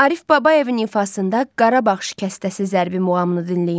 Arif Babayevin ifasında Qarabağ şikəstəsi zərbi muğamını dinləyin.